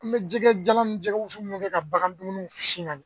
An bɛ jɛgɛ jalan ni jɛgɛ wusu minnu kɛ ka bagan dumuniw si ma